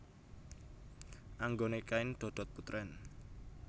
Anggone kain dodot putrèn